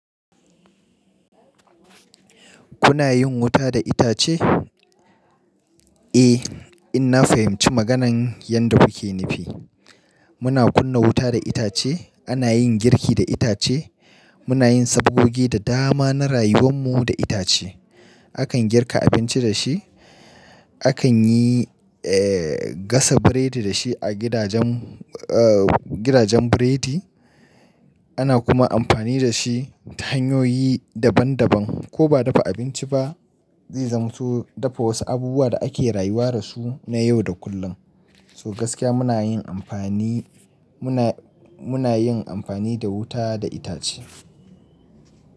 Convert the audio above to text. Kuna yin wuta da itace? Eh, ina fahimci maganan yadda kuke nufi. Muna kunna wuta da itace, ana yin girki da itace, muna yin sabogogi da dama na rayuwan mu da itace. Akan girka abinci da shi, akan yi, eh, gasa burodi da shi a gidajen, eh, gidajen burodi. Ana kuma amfani da shi ta hanyoyi daban daban. Ko ba dafa abinci ba, zai zamato dafa wasu abubuwa da ake rayuwa da su na yau da kullum. So gaskiya muna yin amfani, muna, muna yin amfani da wuta da itace.